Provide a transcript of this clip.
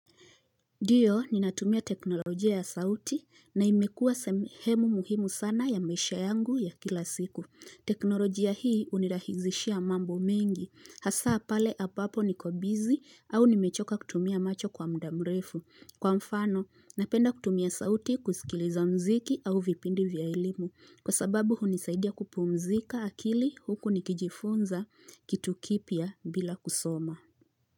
Diyo, ninatumia teknolojia ya sauti na imekuwa semhemu muhimu sana ya maisha yangu ya kila siku. Teknolojia hii unirahizishia mambo mengi. Hasaa pale abapo niko busy au nimechoka kutumia macho kwa muda mrefu. Kwa mfano, napenda kutumia sauti kusikiliza mziki au vipindi vya elimu. Kwa sababu hunisaidia kupumzika akili huku nikijifunza kitu kipya bila kusoma.